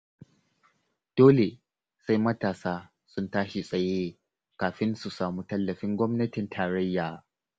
Dole sai matasa sun tashi tsaye kafin su samu tallafin gwamnatin tarayya.